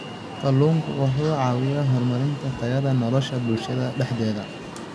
Kalluunku wuxuu caawiyaa horumarinta tayada nolosha bulshada dhexdeeda.